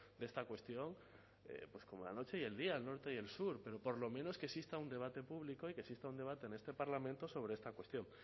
de esta cuestión pues como la noche y el día el norte y el sur pero por lo menos que exista un debate público y que exista un debate en este parlamento sobre esta cuestión